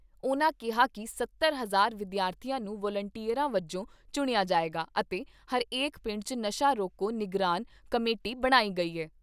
ਉਨ੍ਹਾਂ ਕਿਹਾ ਕਿ ਸੱਤਰ ਹਜ਼ਾਰ ਵਿਦਿਆਰਥੀਆਂ ਨੂੰ ਵਲੰਟੀਅਰਾਂ ਵਜੋਂ ਚੁਣਿਆ ਜਾਏਗਾ ਅਤੇ ਹਰੇਕ ਪਿੰਡ 'ਚ ਨਸ਼ਾ ਰੋਕੋ ਨਿਗਰਾਨ ਕਮੇਟੀ ਬਣਾਈ ਗਈ ਏ।